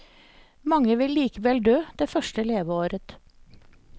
Mange vil likevel dø det første leveåret.